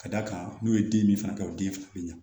Ka d'a kan n'u ye den min fana kɛ o den bɛ ɲa